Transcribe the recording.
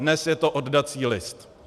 Dnes je to oddací list.